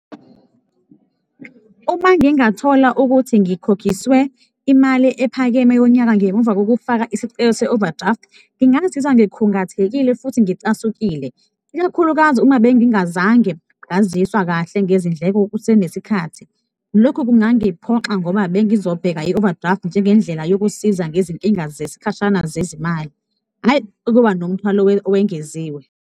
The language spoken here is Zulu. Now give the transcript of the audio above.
Uma ngingathola ukuthi ngikhokhiswe imali ephakeme yonyaka ngemuva kokufaka isicelo se-overdraft, ngingazizwa ngikhungathekile futhi ngicasukile, ikakhulukazi uma bengingazange ngaziswa kahle ngezindleko kusenesikhathi, lokhu kungangiphoxa ngoba bengizobheka i-overdraft njengendlela yokusiza ngezinkinga zesikhashana zezimali, hhayi ukuba nomthwalo owengeziwe.